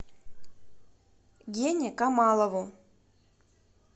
гене камалову